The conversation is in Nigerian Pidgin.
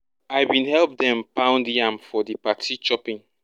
i bin help dem pound yam for di party chopping